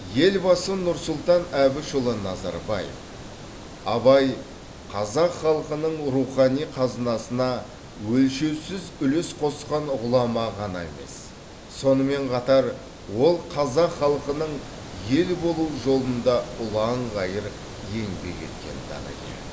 елбасы нұрсұлтан әбішұлы назарбаев абай қазақ халқының рухани қазынасына өлшеусіз үлес қосқан ғұлама ғана емес сонымен қатар ол қазақ халқының ел болуы жолында ұлан ғайыр еңбек еткен данагер